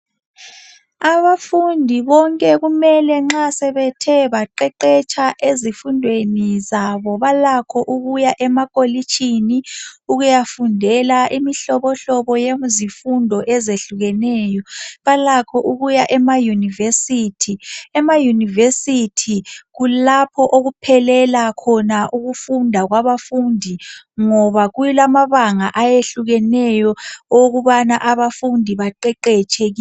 Abafundi bonke kumele nxa sebethe baqeqetsha ezifundweni zabo balakho ukuya emakolitshini ukuyafundela imihlobo yezifundo ezehlukeneyo. Balakho ukuya ema yunivesithi, emayunivesithi kulapho okuphelela khona ukufunda kwabafundi ngoba kulamabanga ahlukeneyo okubana abafundi baqeqetshe.